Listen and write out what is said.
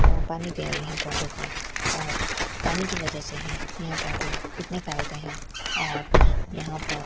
वो पानी दे रही है पौधों को और पानी की वजह से ही ये पौधे इतने फैलते हैं और यहां पर --